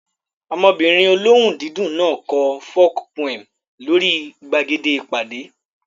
Ọmọbìnrin olóhùn dídùn náà kọ folk poem lórí gbàgede ìpàdé